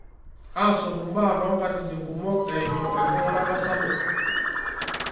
Aaasotu mbaa tonkatitin kumok eimu enking; urata sapuk